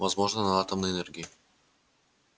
возможно на атомной энергии